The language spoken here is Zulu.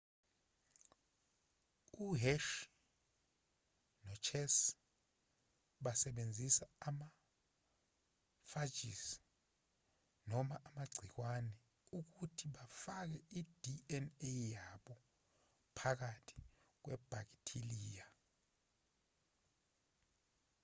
u-hershey nochase basebenzise ama-phages noma amagciwane ukuthi bafake i-dna yabo phakathi kwebhakithiliya